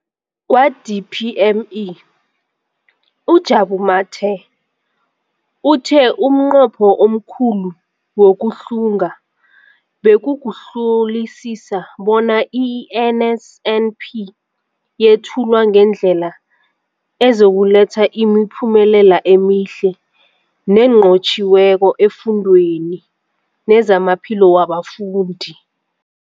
Kwa-DPME, uJabu Mathe, uthe umnqopho omkhulu wokuhlunga bekukuhlolisisa bona i-NSNP yethulwa ngendlela ezokuletha imiphumela emihle nenqotjhiweko efundweni nezamaphilo wabafundi.